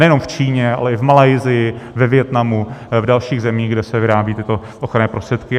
Nejenom v Číně, ale i v Malajsii, ve Vietnamu, v dalších zemích, kde se vyrábí tyto ochranné prostředky.